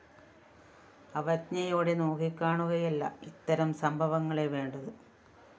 അവജ്ഞയോടെ നോക്കിക്കാണുകയല്ല ഇത്തരം സംഭവങ്ങളെ വേണ്ടത്